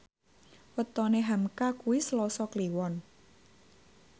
wetone hamka kuwi Selasa Kliwon